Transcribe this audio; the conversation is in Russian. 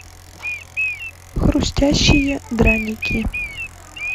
хрустящие драники